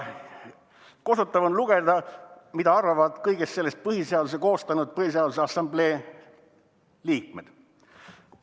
Kosutav on lugeda, mida arvavad kõigest sellest põhiseaduse koostanud Põhiseaduse Assamblee liikmed.